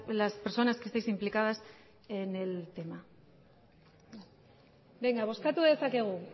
las personas que estáis implicadas en el tema benga bozkatu dezakegu